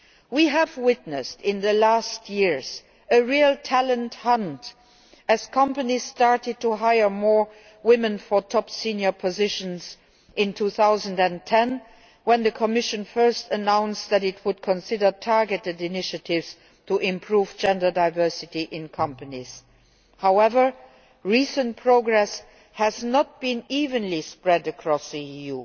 We have witnessed a real talent hunt in recent years, as companies started to hire more women for top senior positions in 2010, when the Commission first announced that it would consider targeted initiatives to improve gender diversity in companies. However, recent progress has not been evenly spread across the EU.